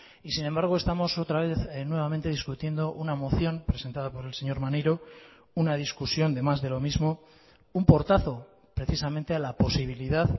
y sin embargo estamos otra vez nuevamente discutiendo una moción presentada por el señor maneiro una discusión de más de lo mismo un portazo precisamente a la posibilidad